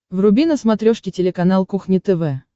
вруби на смотрешке телеканал кухня тв